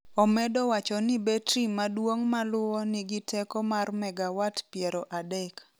Omedo wacho ni betri maduong’ maluwo nigi teko mar megawatt 30.